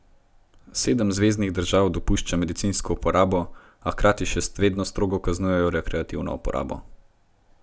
Sedem zveznih držav dopušča medicinsko uporabo, a hkrati še vedno strogo kaznuje rekreativno uporabo.